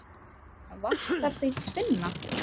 Vantar þig tvinna?